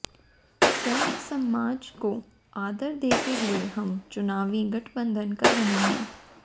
सर्वसमाज को आदर देते हुए हम चुनावी गठबंधन कर रहे हैं